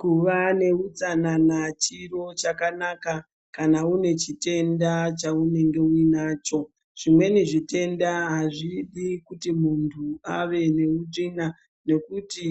Kuva neutsanana chiro chakanaka kana une chitenda chaunenge uinacho. Zvimweni zvitenda hazvidi kuti muntu ave neutsvina nekuti